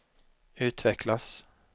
utvecklas